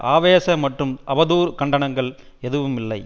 ஆவேச மற்றும் அவதூறு கண்டனங்கள் எதுவுமில்லை